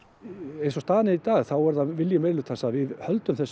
eins og staðan er í dag þá er það vilji meirihlutans að við höldum þessum